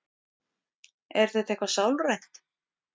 Er þetta eitthvað sálrænt?